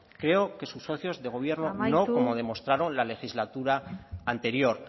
creo que sus socios de gobierno no como demostraron la legislatura anterior